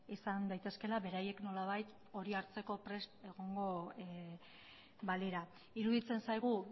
izan daitezkeela beraiek nolabait hori hartzeko prest egongo balira iruditzen zaigu